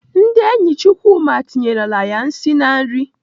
Ndị enyi Chukwuma tinyerela ya nsị na nri.